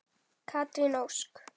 Katrín Ósk.